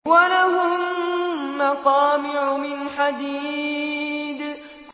وَلَهُم مَّقَامِعُ مِنْ حَدِيدٍ